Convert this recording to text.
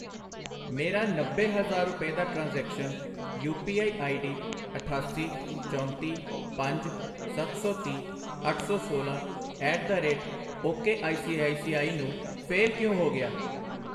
ਮੇਰਾ ਨੱਬੇ ਹਜ਼ਾਰ ਰੁਪਏ ਦਾ transaction, U P I ID ਅਠਾਸੀ, ਚੌਂਤੀ, ਪੰਜ, ਸੱਤ ਸੌ ਤੀਹ, ਅੱਠ ਸੌ ਸੋਲਾਂ at the rate ok I C I C I ਨੂੰ ਫੇਲ ਕਿਉਂ ਹੋ ਗਿਆ?